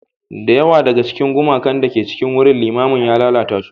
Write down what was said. Da yawa daga cikin gumakan da ke cikin wurin limamin ya lalata su.